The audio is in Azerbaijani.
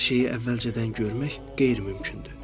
Hər şeyi əvvəlcədən görmək qeyri-mümkündür.